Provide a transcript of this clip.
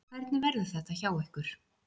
Hvernig verður þetta hjá ykkur?